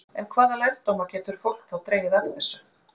En hvaða lærdóma getur fólk þá dregið af þessu?